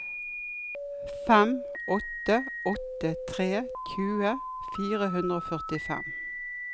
fem åtte åtte tre tjue fire hundre og førtifem